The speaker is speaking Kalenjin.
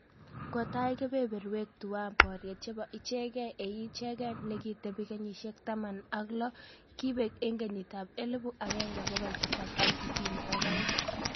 Kotai keberberwek tuwai boriet chebo ichegei eng ichegei ne ki tebi kenyisyek taman ak lo kibeek eng kenyit ab elibu agenge bogol tisap ak tisini ak aeng